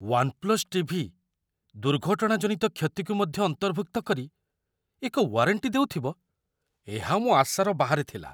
'One plus TV' ଦୁର୍ଘଟଣାଜନିତ କ୍ଷତିକୁ ମଧ୍ୟ ଅନ୍ତର୍ଭୁକ୍ତ କରି ଏକ ୱାରେଣ୍ଟି ଦେଉଥିବ, ଏହା ମୋ ଆଶାର ବାହାରେ ଥିଲା।